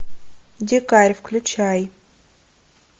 дикарь включай